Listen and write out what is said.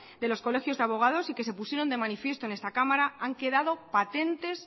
de los colegios de abogados y que se pusieron de manifiesto en esta cámara han quedado patentes